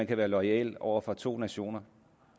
kan være loyal over for to nationer